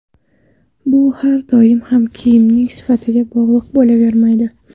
Bu har doim ham kiyimning sifatiga bog‘liq bo‘lavermaydi.